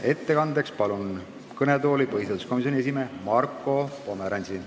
Ettekandeks palun kõnetooli põhiseaduskomisjoni esimehe Marko Pomerantsi.